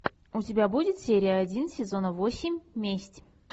у тебя будет серия один сезона восемь месть